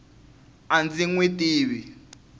a ndzi n wi tivi